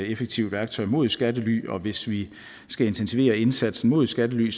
effektivt værktøj mod skattely og hvis vi skal intensivere indsatsen mod skattely